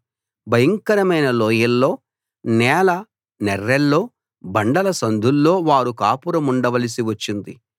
భయంకరమైన లోయల్లో నేల నెర్రెల్లో బండల సందుల్లో వారు కాపురముండవలసి వచ్చింది